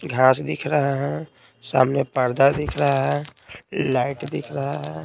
घास दिख रहा है सामने पर्दा दिख रहा है लाइट दिख रहा है।